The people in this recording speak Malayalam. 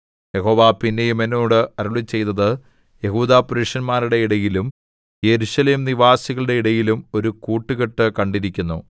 യഹോവ പിന്നെയും എന്നോട് അരുളിച്ചെയ്തത് യെഹൂദാപുരുഷന്മാരുടെ ഇടയിലും യെരൂശലേംനിവാസികളുടെ ഇടയിലും ഒരു കൂട്ടുകെട്ടു കണ്ടിരിക്കുന്നു